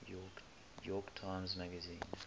york times magazine